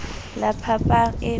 la phapang eo e a